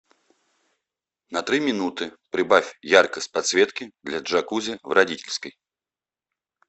на три минуты прибавь яркость подсветки для джакузи в родительской